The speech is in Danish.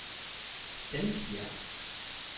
Dansbjerg